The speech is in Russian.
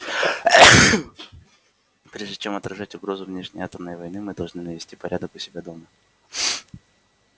прежде чем отражать угрозу внешней атомной войны мы должны навести порядок у себя дома